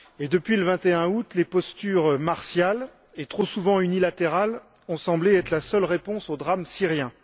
Depuis le 21 août, les postures martiales et trop souvent unilatérales ont semblé être la seule réponse au drame syrien.